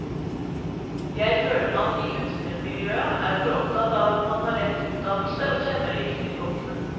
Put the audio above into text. Jeg føler man i kunstnermiljøet er for opptatt av at man har rett utdannelse og kjenner de riktige folkene.